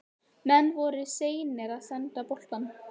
Menn voru of seinir að senda boltann.